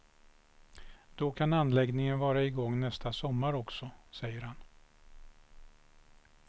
Då kan anläggningen vara i gång nästa sommar också, säger han.